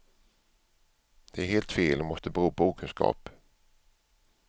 Det är helt fel och måste bero på okunskap.